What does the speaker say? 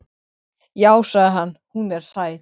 Já, sagði hann, hún er sæt.